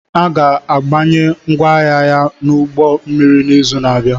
A ga-abanye ngwaahịa ya n'ụgbọ mmiri n'izu na-abịa